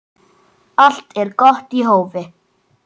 Allt er gott í hófi.